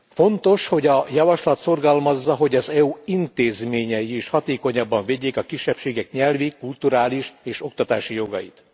Fontos, hogy a javaslat szorgalmazza, hogy az EU intézményei is hatékonyabban védjék a kisebbségek nyelvi, kulturális és oktatási jogait.